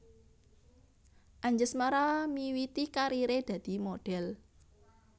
Anjasmara miwiti kariré dadi modhèl